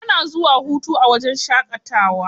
Ana zuwa a huta a wajen shaƙatawa.